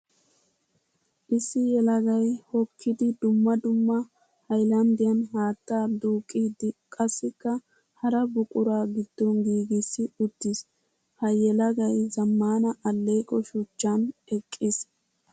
Issi yelagay hokkiddi dumma dumma hayllanddiyan haatta duuqqiddi qassikka hara buqura gidon giigissi uttiis. Ha yelagay zamaana aleeqo shuchchan eqqiis.